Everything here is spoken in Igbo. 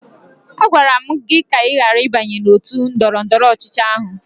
Agwara m gị ka ị ghara ịbanye n'òtù ndọrọndọrọ ọchịchị ahụ!